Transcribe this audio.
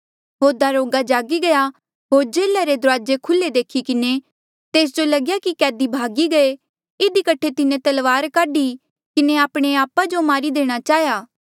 होर दरोगा जागी गया होर जेल्हा रे दुराजे खुल्हे देखी किन्हें तेस जो लगया कि कैदी भगी गये इधी कठे तिन्हें तलवार काढी किन्हें आपणे आपा जो मारी देणा चाहेया